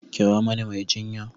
Kira mani mai jinya!